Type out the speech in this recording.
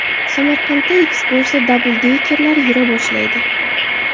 Samarqandda ekskursiya dabldekerlari yura boshlaydi.